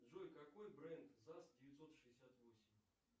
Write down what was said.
джой какой бренд заз девятьсот шестьдесят восемь